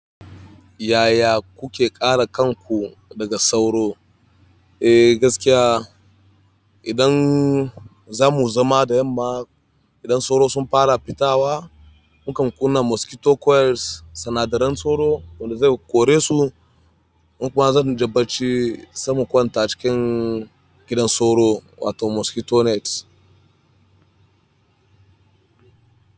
Yaya kuke kare kanku daga sauro? Eh gaskiya, idan za mu zama da yamma, idan sauro sun fara fitawa, mu kam kuna mosquito coils, sinadaran sauro wanda zai kore su kuma zan je bacci saimu kwanta cikin gidan sauro wato mosquito nets.